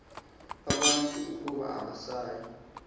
abantu ukuba abasayi